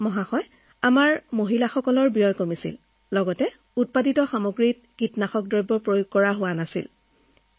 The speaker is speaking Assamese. ছাৰ ইয়াৰ ফলত খেতিৰ বাবদ আমাৰ মহিলাসকলৰ খৰচ কমিছে আৰু সমাধান হিচাপে ছাৰ আমি কীটপতংগবিহীন এই সামগ্ৰী পাইছো